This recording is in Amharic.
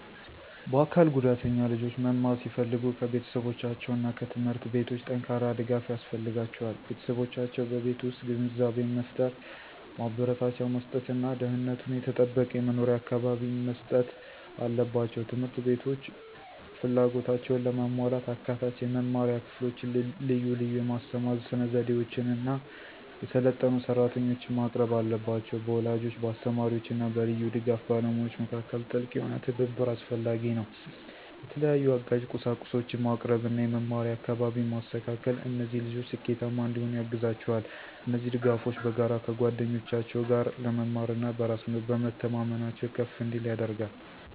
የአካል ጉዳተኛ ልጆች መማር ሲፈልጉ ከቤተሰቦቻቸው እና ከትምህርት ቤቶች ጠንካራ ድጋፍ ያስፈልጋቸዋል። ቤተሰቦቻቸው በቤት ውስጥ ግንዛቤን መፍጠር፣ ማበረታቻ መስጥት እና ደህንነቱ የተጠበቀ የመኖሪያ አካባቢን መስጠት አለባቸው። ት/ቤቶች ፍላጎታቸውን ለማሟላት አካታች የመማሪያ ክፍሎችን፣ ልዩ ልዩ የማስተማር ስነዘዴዎችን እና የሰለጠኑ ሰራተኞችን ማቅረብ አለባቸው። በወላጆች፣ በአስተማሪዎች እና በልዩ ድጋፍ ባለሙያዎች መካከል ጥልቅ የሆነ ትብብር አስፈላጊ ነው። የተለያዩ አጋዥ ቁሳቁሶችን ማቅረብ እና የመማሪያ አካባቢን ማስተካከል እነዚህ ልጆች ስኬታማ እንዲሆኑ ያግዛቸዋል። እነዚህ ድጋፎች በጋራ ከጓደኞቻቸው ጋር ለመማር እና በራስ በመተማመናቸው ከፍ እንዲል ያደርጋል።